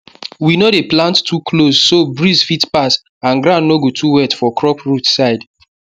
we no dey plant too close so breeze fit pass and ground no go too wet for crop root side